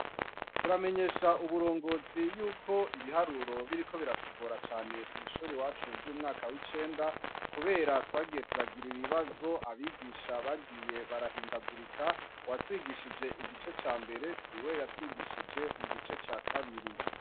Turamenyesha uburongozi yuko ibiharuro biriko biratugora cane mwishure iwacu ryumwaka wicenda, kubera twagiye turagira ibibazo abigisha bagiye barahindagurika, uwatwigishije igice cambere siwe yatwigishije mugice cakabiri.